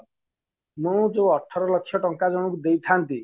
ମୁଁ ଯୋଉ ଅଠର ଲକ୍ଷ ଟଙ୍କା ଜଣକୁ ଦେଇଥାନ୍ତି